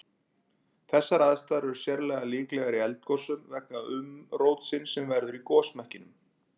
Þessar aðstæður er sérlega líklegar í eldgosum vegna umrótsins sem verður í gosmekkinum.